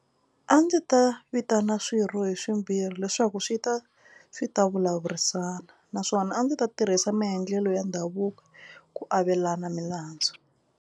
A ndzi ta vitana swirho hi swimbirhi leswaku swi ta swi ta vulavurisana naswona a ndzi ta tirhisa maendlelo ya ndhavuko ku avelana milandzu.